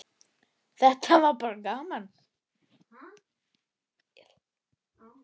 Þetta var bara gaman.